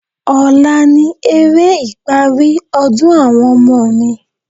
Ọ̀la ni eré ìparí ọdún àwọn ọmọ mi.